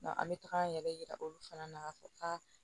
an bɛ taga an yɛrɛ yira olu fana na k'a fɔ a